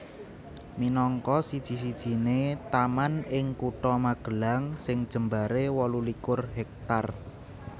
Minangka siji sijiné taman ing Kutha Magelang sing jembaré wolu likur hektar